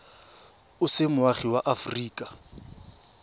o se moagi wa aforika